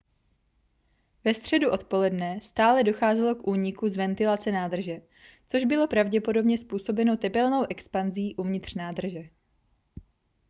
ve středu odpoledne stále docházelo k úniku z ventilace nádrže což bylo pravděpodobně způsobeno tepelnou expanzí uvnitř nádrže